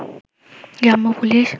গ্রাম্য পুলিশ